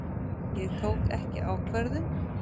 Ég tók ekki ákvörðun.